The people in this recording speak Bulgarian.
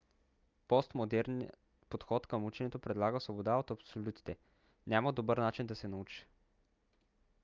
постмодерният подход към ученето предлага свобода от абсолютите. няма добър начин да се научиш